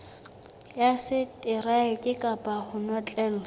ya seteraeke kapa ho notlellwa